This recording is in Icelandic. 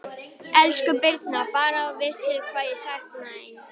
Elsku Birna, Bara að þú vissir hvað ég sakna þín.